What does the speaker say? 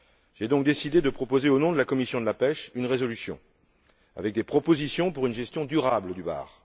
J'ai donc décidé de proposer, au nom de la commission de la pêche, une résolution contenant des propositions pour une gestion durable du bar.